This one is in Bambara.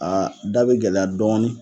Aa da bɛ gɛlɛya dɔɔnin.